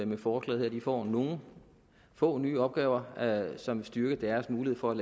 med forslaget her de får nogle få nye opgaver som styrker deres mulighed for at